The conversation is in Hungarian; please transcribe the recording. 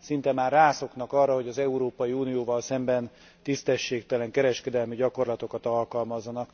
szinte már rászoknak arra, hogy az Európai Unióval szemben tisztességtelen kereskedelemi gyakorlatokat alkalmazzanak.